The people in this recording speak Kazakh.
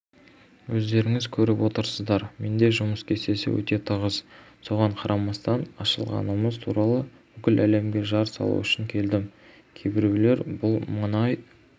өздеріңіз көріп отырсыздар менде жұмыс кестесі өте тығыз соған қарамастан ашылғанымыз туралы бүкіл әлемге жар салу үшін келдім кейбіреулер бұл мұнай